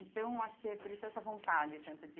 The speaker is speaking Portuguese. Então, acho que é por isso essa vontade tanto de...